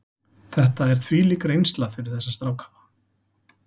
Þetta er þvílík reynsla fyrir þessa stráka.